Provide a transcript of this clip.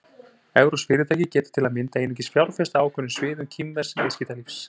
Evrópsk fyrirtæki geta til að mynda einungis fjárfest á ákveðnum sviðum kínversks viðskiptalífs.